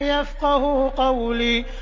يَفْقَهُوا قَوْلِي